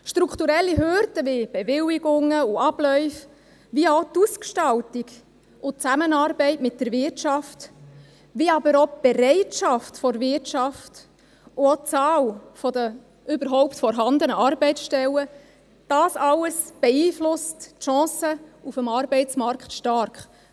Strukturelle Hürden wie Bewilligungen und Abläufe, wie auch die Ausgestaltung und die Zusammenarbeit mit der Wirtschaft, wie aber auch die Bereitschaft der Wirtschaft und auch die Anzahl der überhaupt vorhandenen Arbeitsstellen – dies alles beeinflusst die Chancen auf dem Arbeitsmarkt stark.